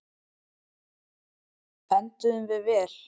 Enduðum við vel?